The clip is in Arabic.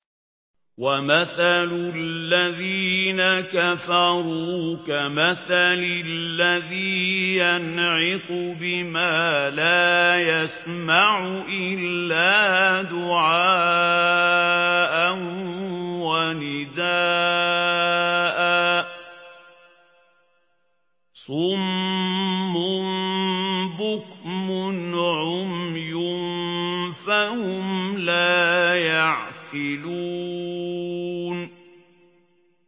وَمَثَلُ الَّذِينَ كَفَرُوا كَمَثَلِ الَّذِي يَنْعِقُ بِمَا لَا يَسْمَعُ إِلَّا دُعَاءً وَنِدَاءً ۚ صُمٌّ بُكْمٌ عُمْيٌ فَهُمْ لَا يَعْقِلُونَ